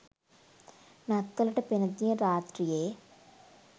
නත්තලට පෙර දින රාත්‍රියේ